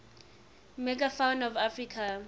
megafauna of africa